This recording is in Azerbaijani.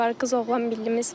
Qız-oğlan, millimiz var.